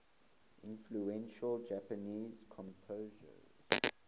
influential japanese composer